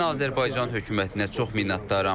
Mən Azərbaycan hökumətinə çox minnətdaram.